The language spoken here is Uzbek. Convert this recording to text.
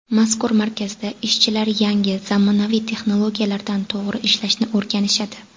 Mazkur markazda ishchilar yangi, zamonaviy texnologiyalarda to‘g‘ri ishlashni o‘rganishadi.